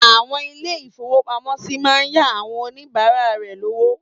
Àwọn ilé-ìfowópamọ́sí máa ń yá àwon oníbàárà rẹ lówó.